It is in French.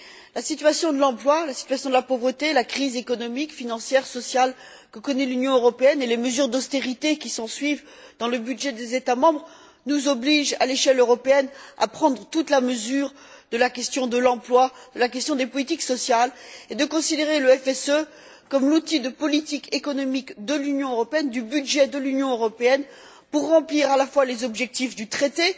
La situation de l'emploi, la situation de la pauvreté, la crise économique, financière, sociale que connaît l'Union européenne et les mesures d'austérité qui s'ensuivent dans le budget des États membres nous obligent, à l'échelle européenne, à prendre toute la mesure de la question de l'emploi, la question des politiques sociales et de considérer le FSE comme l'outil de politique économique de l'Union européenne, du budget de l'Union européenne pour remplir à la fois les objectifs du traité